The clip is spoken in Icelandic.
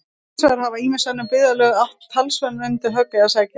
Hins vegar hafa ýmis önnur byggðarlög átt talsvert undir högg að sækja.